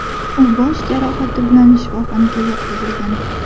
U bosh jarohati bilan shifoxonaga yotqizilgan.